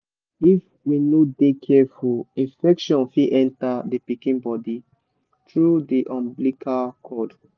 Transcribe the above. if we no de careful infection fit enter the pikin body through the umbilical cord.